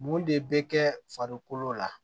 Mun de bɛ kɛ farikolo la